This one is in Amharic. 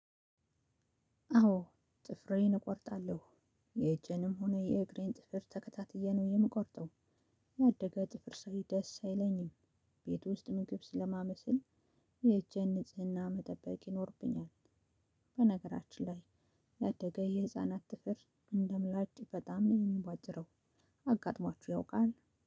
አዎ ጥፍሬን እቆርጣለሁ የእጄንም ሆነ የእግሬን ጥፍር ተከታትዬ ነው የምቆርጠው። ያደገ ጥፍር ሰይ ደስ አይለኝም። ቤት ውስጥ ምግብ ስለማበስል። የእጄን ንጽህና መጠበቅ ይኖርብኛል። በነገራችን ላይ። ያደገ የህፃናት ጥፍር እንደ ምላጭ በጣም ነው የሚቧጭረው። አጋጥሟችሁ ያውቃል?